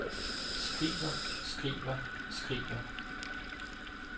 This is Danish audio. skriver skriver skriver